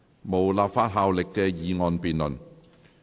無立法效力的議案辯論。